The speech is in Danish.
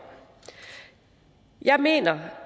jeg mener